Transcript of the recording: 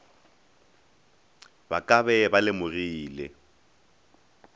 ka ba be ba lemogile